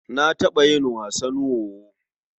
Na taɓa yin wasan wowo.